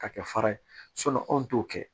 Ka kɛ fara ye anw t'o kɛ